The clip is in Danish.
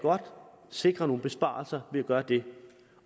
sikre nogle besparelser ved at gøre det